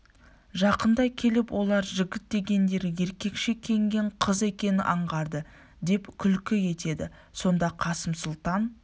жақындай келіп олар жігіт дегендері еркекше киінген қыз екенін аңғарды деп күлкі етеді сонда қасым сұлтан